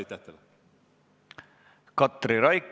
Katri Raik, palun!